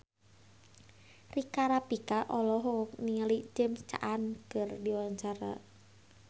Rika Rafika olohok ningali James Caan keur diwawancara